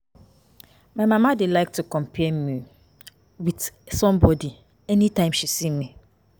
My mama dey like to compare me with somebody anytime she see me